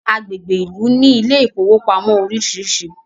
agbègbè Ilú ní Ilé ìfowópamọ́ orisirisi